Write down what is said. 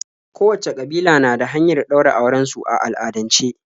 Kowacce ƙabila na da hanyar ɗaura auren su a al'adance.